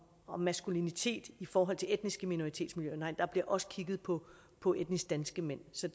om maskulinitet i forhold til etniske minoritetsmiljøer og nej der bliver også kigget på på etnisk danske mænd så